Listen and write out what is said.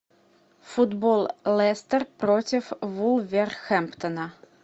футбол лестер против вулверхэмптона